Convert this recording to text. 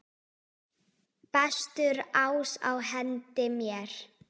Bestur ás á hendi mér.